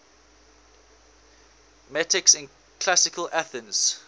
metics in classical athens